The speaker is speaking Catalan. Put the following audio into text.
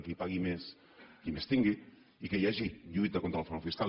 qui pagui més qui més tingui i que hi hagi lluita contra el frau fiscal